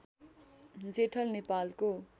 जेठल नेपालको